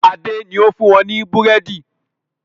Adé ni ó fún wọn ní búrẹ́dì